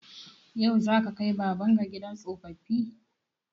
Yau za ka kai baban ka gidan tsoffi?